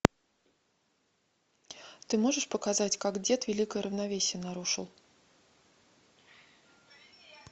ты можешь показать как дед великое равновесие нарушил